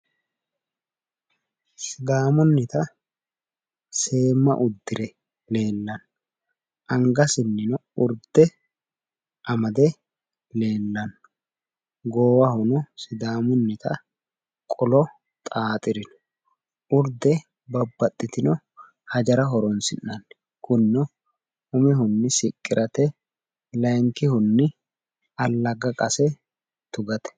sidaamunnita seemma uddire leellanno angasino urde amade leellanno goowahono sidaamunnita qolo xaaxirino urde babbaxitino hajara horonsi'nanni kunino umihunni siqqirate layiinkihunni allagga qase tugate.